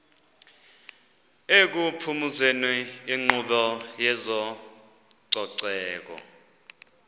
ekuphumezeni inkqubo yezococeko